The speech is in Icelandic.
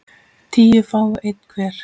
tíu fái einn hver